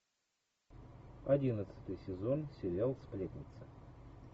одиннадцатый сезон сериал сплетница